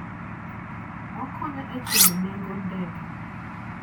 Okonyo e chulo nengo ndege.